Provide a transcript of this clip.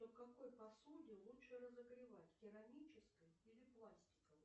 в какой посуде лучше разогревать в керамической или пластиковой